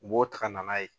U b'o ta ka na n'a ye